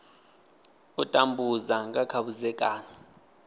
u tambudza nga kha vhudzekani